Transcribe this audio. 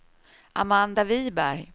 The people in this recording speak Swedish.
Amanda Wiberg